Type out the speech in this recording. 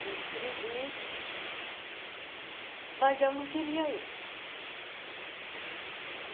Me inscrevi, mas eu não queria ir.